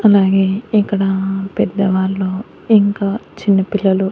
అలాగే ఇక్కడ పెద్దవాళ్ళు ఇంకా చిన్న పిల్లలు--